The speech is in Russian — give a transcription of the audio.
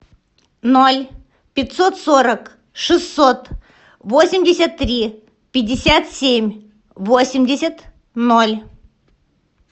ноль пятьсот сорок шестьсот восемьдесят три пятьдесят семь восемьдесят ноль